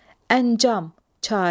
Əncam, çarə.